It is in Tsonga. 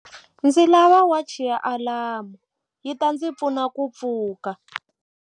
Ndzi lava wachi ya alamu yi ta ndzi pfuna ku pfuka.